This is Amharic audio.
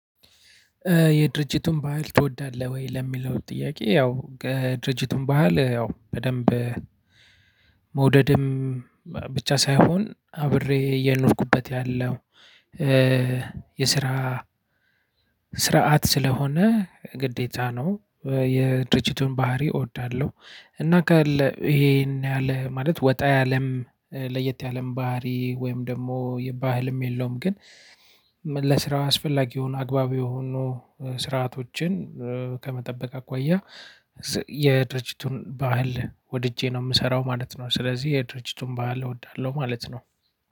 የድርጅቱን ባህል ትወዳለህ? ወይ ለሚለው ጥያቄ ያው የድርጅቱን ባህል ያው በደንብ መውደድም ብቻ ሳይሆን አብሬ እየኖርኩበት ያለው የስራ ስርዓት ስለሆነ ግዴታ ነው። የድርጅቱን ባህሪ እወዳለሁ። እና ካለ ይሄን ያለ ማለት ወጣ ያለም ለየት ያለም ባህሪ ወይም ደግሞ የባህልም የለውም ግን ለስራ አስፈላጊ የሆኑ አግባብ የሆኑ ስርዓቶችን ከመጠበቅ አኳያ የድርጅቱን ባህል ወድጄ ነው የምሰራው ማለት ነው። ስለዚህ የድርጅቱን ባህል እወዳለሁ ማለት ነው።